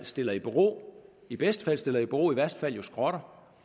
stiller i bero i bedste fald stiller i bero i værste fald skrotter